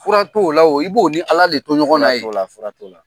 Fura t'o la wo i b'o ni ala de to ɲɔgɔn na ye siga t'o la siga t'o la